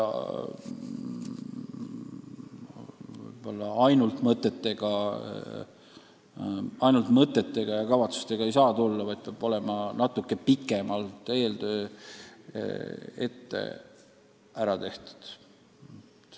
Vahest ainult mõtete ja kavatsustega ei maksa tulla, eeltöö peab olema natuke pikemalt ära tehtud.